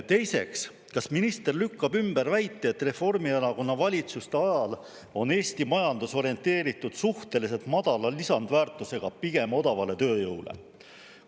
Teiseks, kas minister lükkab ümber väite, et Reformierakonna valitsuste ajal on Eesti majandus orienteeritud suhteliselt madala lisandväärtusega ja pigem odavale tööjõule?